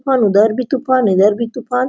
अंदर भी तूफ़ान इधर भी तूफान।